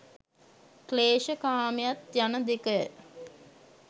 ක්ලේශ කාමයත් යන දෙකය.